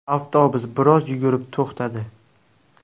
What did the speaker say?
Avtobus biroz yurib to‘xtadi.